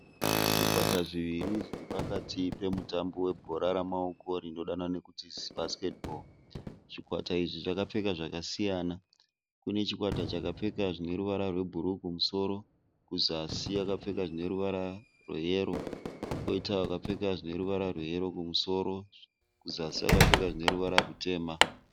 Zvikwata zviviri zviri pakati pemutambo we bhora remaoko rinodanwa nekuti basket ball. Zvikwata izvi zvakapfeka zvakasiyana. Kune chikwata chakapfeka zvine ruvara rwe bhuruu kumusoro, kuzasi vakapfeka zvine ruvara rwe yero. Koita vakapfeka zvineruvara rwe yero kumusoro kuzasi vakapfeka zvineruvara rutema.